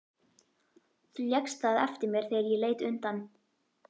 Þú lékst það eftir mér þegar ég leit undan.